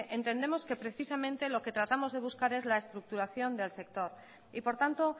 entendemos precisamente lo que tratamos de buscar es la estructuración del sector y por tanto